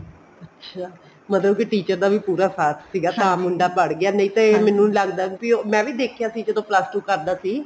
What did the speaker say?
ਅੱਛਿਆ ਮਤਲਬ teacher ਦਾ ਵੀ ਪੂਰਾ ਸਾਥ ਸੀਗਾ ਤਾਂ ਮੁੰਡਾ ਪੜ ਗਿਆ ਨਹੀਂ ਤੇ ਮੈਨੂੰ ਲੱਗਦਾ ਸੀ ਮੈਂ ਵੀ ਦੇਖਿਆ ਸੀ ਜਦੋਂ plus two ਕਰਦਾ ਸੀ